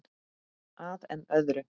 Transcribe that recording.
Að enn öðru.